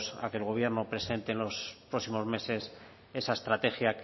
a que el gobierno presente en los próximos meses esa estrategia